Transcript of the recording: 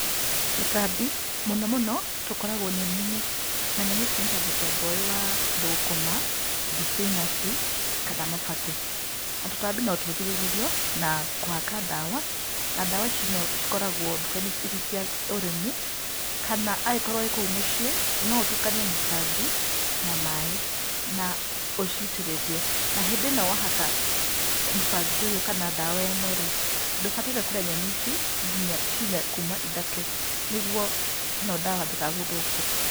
Tũtambi, mũno mũno tũkoragwo nyeninĩ, na nyeni ici nĩta mũthemba ũyũ wa thukũma, thibinaci, kana mabakĩ. Na tũtambi no tũgirĩrĩrio na kũhaka ndawa, na ndawa ici no cikoragwo ndukainĩ ici cia ũrĩmi, kana angĩkorwo wĩ kuũ mũciĩ, no ũtukanie mũbangi na maĩ na ũcitĩrĩrie. Na hĩndĩ ĩno wahaka mũbangi ũyũ kana ndawa ĩno rĩ, ndũbataire kũrĩa nyeni ici nginya ciumia kuma ithatũ, nĩguo ĩno ndawa ndĩgagũthũkĩre.